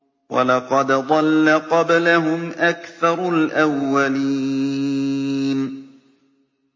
وَلَقَدْ ضَلَّ قَبْلَهُمْ أَكْثَرُ الْأَوَّلِينَ